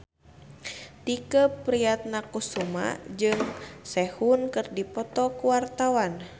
Tike Priatnakusuma jeung Sehun keur dipoto ku wartawan